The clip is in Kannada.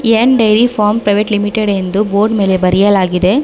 N dairy farm private limited ಎಂದು ಬೋರ್ಡ್ ಮೇಲೆ ಬರೆಯಲಾಗಿದೆ.